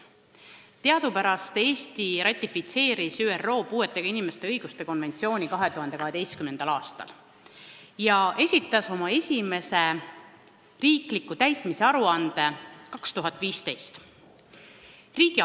Teadupärast Eesti ratifitseeris ÜRO puuetega inimeste õiguste konventsiooni 2012. aastal ja esitas riigina oma esimese täitmise aruande 2015. aastal.